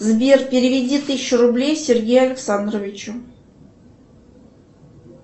сбер переведи тысячу рублей сергею алексанровичу